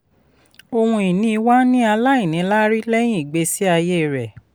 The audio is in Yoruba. ohun ìní wà ní aláìníláárí lẹ́yìn ìgbésí aye rẹ̀.